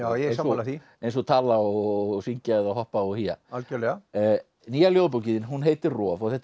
ég er sammála því eins og tala og syngja eða hoppa og hía nýja ljóðabókin þín heitir roð og þetta er